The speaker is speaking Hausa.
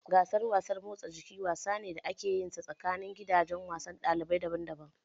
Gasar wasan motsa jiki wasa ne da ake yinsa tsakanini gidajen wasan ɗalibai daban daban